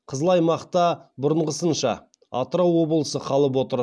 қызыл аймақта бұрынғысынша атырау облысы қалып отыр